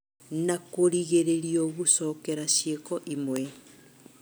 na kũringĩrĩrio gũcokera ciĩko imwe.